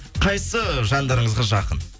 қайсы жандарыңызға жақын